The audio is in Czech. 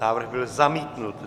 Návrh byl zamítnut.